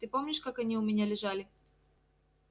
ты помнишь как они у меня лежали